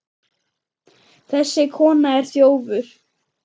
Þessi kona er þjófur.